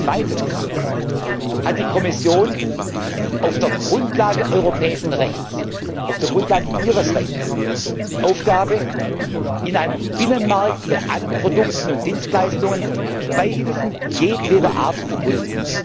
Zweitens hat die Kommission auf der Grundlage europäischen Rechts auf der Grundlage Ihres Rechts die Aufgabe, in einem Binnenmarkt bei allen Produkten und Dienstleistungen Beihilfen jedweder Art zu prüfen.